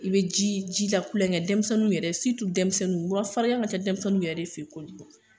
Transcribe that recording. I be ji ji la kulonkɛ , denmisɛnninw yɛrɛ denmisɛnninw mura farigan ka ca denmisɛnninw yɛrɛ de fe yen kojugu .